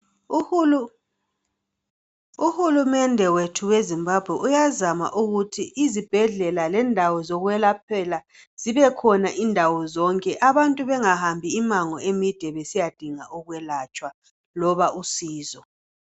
Uhulumende wethu weZimbabwe uyazama ukuthi izibhedlela lendawo zokwelaphela zibe khona indawo zonke abantu bengahambi imango emide besiyadinga ukwelatshwa loba usizo.